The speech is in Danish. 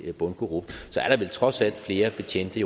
er bundkorrupt er der vel trods alt flere betjente